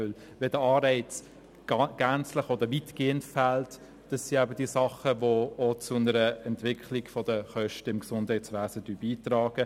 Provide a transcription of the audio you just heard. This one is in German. Wenn der Anreiz gänzlich oder weitgehend fehlt, tragen solche Dinge auch zu einer Kostenentwicklung im Gesundheitswesen bei.